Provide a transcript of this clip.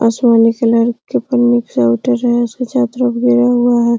आसमानी कलर हुआ है।